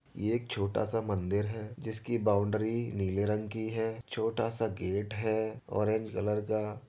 ये एक छोटा सा मंदिर है जिसकी बाउंड्री नीले रंग की है। छोटा सा गेट है ऑरेंज कलर का।